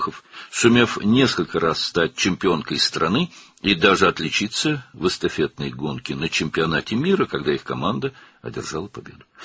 Bir neçə dəfə ölkə çempionu olmağı və hətta komandaları qələbə qazananda dünya çempionatında estafet yarışında fərqlənməyi bacarmışdı.